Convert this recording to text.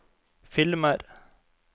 filmer